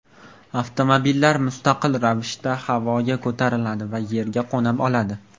Avtomobillar mustaqil ravishda havoga ko‘tariladi va yerga qo‘na oladi.